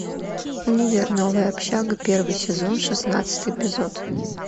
универ новая общага первый сезон шестнадцатый эпизод